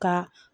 Ka